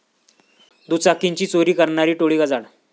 दुचाकींची चोरी करणारी टोळी गजाआड